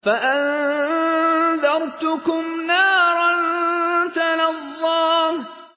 فَأَنذَرْتُكُمْ نَارًا تَلَظَّىٰ